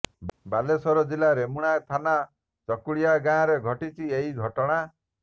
ବାଲେଶ୍ୱର ଜିଲ୍ଲା ରେମୁଣା ଥାନା ଚକୁଳିଆ ଗାଁରେ ଘଟିଛି ଏହି ଘଟଣା